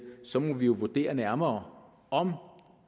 så må vi vurdere nærmere om